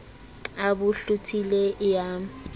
a bo hlothile e ya